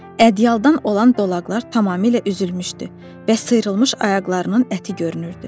Ədyaldan olan dolaqlar tamamilə üzülmüşdü və sıyrılmış ayaqlarının əti görünürdü.